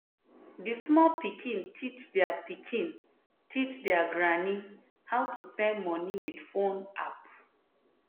the small pikin teach their pikin teach their granny how to send money with phone app.